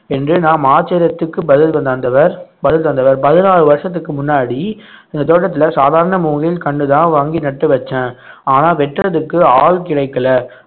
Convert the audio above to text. என்று நாம் ஆச்சரியத்துக்கு பதில் தந்தவர் பதில் தந்தவர் பதினாலு வருஷத்துக்கு முன்னாடி இந்த தோட்டத்துல சாதாரண மூங்கில் கண்ணுதான் வாங்கி நட்டு வச்சேன் ஆனா வெட்டுறதுக்கு ஆள் கிடைக்கல